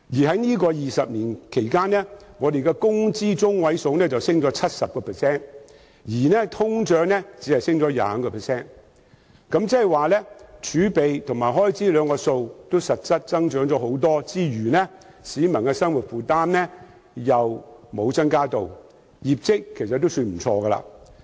在這20年間，工資中位數上升 70%， 但通脹只上升 25%， 換言之，儲備和開支數字實際增加不少，但市民的生活負擔沒有增加，業績尚算不錯。